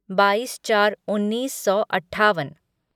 बाईस चार उन्नीस सौ अट्ठावन